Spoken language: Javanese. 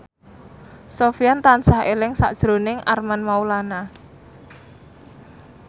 Sofyan tansah eling sakjroning Armand Maulana